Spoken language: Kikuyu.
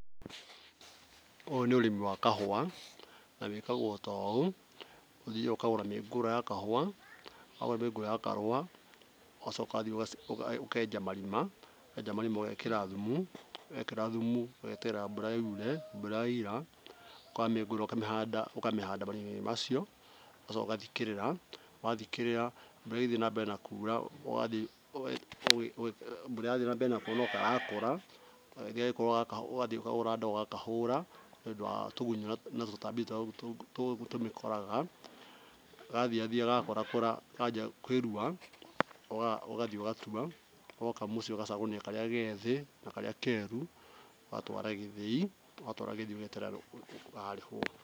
Ũyũ nĩ ũrĩmi wa kahũa na wĩkagwo ta ũũ. Ũthiyaga ũkagũra mĩũngũrwa ya kahũa. Wagũra mĩũngũrwa ya kahũa ũgacoka ũgathiĩ ũkenja marima, wenja marima ũgekĩra thumu, wekĩra thumu ũgeterera mbura yure, ũgathiĩ ũkoya mĩũngũrwa ũkamĩhanda marima-inĩ macio ũgacoka ũgathikĩrĩra. Wathikĩrĩra mbura ĩgĩthiĩ na mbere na kura no karakũra ũgathiĩ ũkagũra ndawa ũgakahũra nĩũndũ wa tũgunyo na tũtambi tũrĩa tũmĩkoraga. Gathiyathiya gagĩkũrakũraga ũgathiĩ ũgatua woka mũciĩ ũgacagũrania karĩa gethĩ na keru. Ũgatwara gĩthĩi ũgacoka ũgeterera mũthenya ũrĩa ũrarĩhwo.